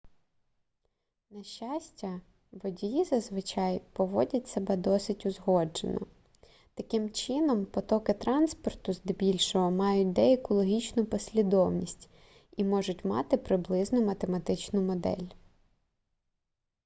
на щастя водії зазвичай поводять себе досить узгоджено таким чином потоки транспорту здебільшого мають деяку логічну послідовність і можуть мати приблизну математичну модель